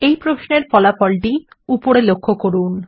এই প্রশ্নের ফলাফল লক্ষ্য করুন